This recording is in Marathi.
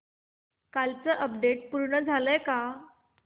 कालचं अपडेट पूर्ण झालंय का